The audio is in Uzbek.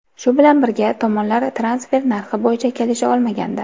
Shu bilan birga, tomonlar transfer narxi bo‘yicha kelisha olmagandi.